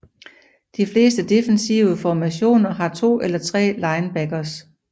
De fleste defensive formationer har to eller tre linebackers